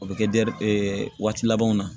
O bɛ kɛ waati labanw na